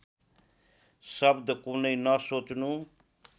शब्द कुनै नसोच्नु